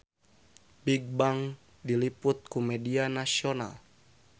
Bigbang diliput ku media nasional